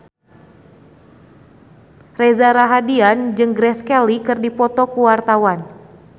Reza Rahardian jeung Grace Kelly keur dipoto ku wartawan